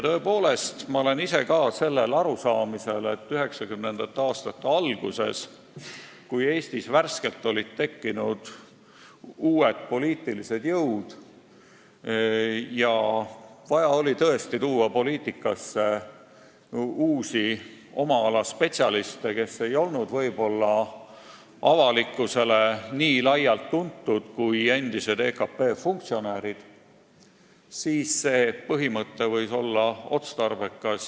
Tõepoolest, ma olen ise ka arusaamisel, et 1990. aastate alguses, kui Eestis olid värskelt tekkinud uued poliitilised jõud ja oli tõesti vaja tuua poliitikasse uusi oma ala spetsialiste, kes ei olnud ehk avalikkusele nii laialt tuntud kui endised EKP funktsionäärid, siis võis see idee olla otstarbekas.